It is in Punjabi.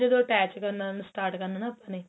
ਜਦੋ attach ਕਰਨਾ ਨਾ ਆਪਣੇ